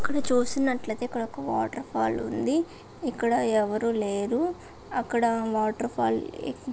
ఇక్కడ చూసినట్లయితే ఇక్కడ ఒక వాటర్ ఫాల్ ఉంది. ఇక్కడ ఎవరు లేరు. అక్కడ వాటర్ ఫాల్ --